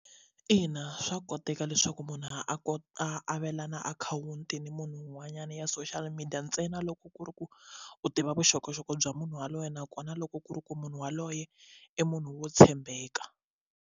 Ina swa koteka leswaku munhu a ku avelana akhawunti ni munhu un'wanyana ya social media ntsena loko ku ri ku u tiva vuxokoxoko bya munhu yaloye nakona loko ku ri ku munhu yaloye i munhu wo tshembeka.